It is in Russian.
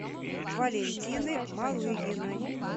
валентины малыгиной